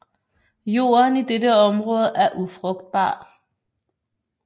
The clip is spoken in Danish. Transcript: Jorden i dette område er ufrugtbar